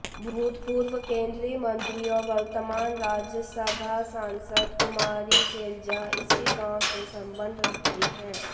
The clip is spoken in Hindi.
भुतपूर्व केन्द्रीय मन्त्री और वर्तमान राज्यसभा सांसद कुमारी शैलजा इसी गाँव से संबद्ध रखती हैं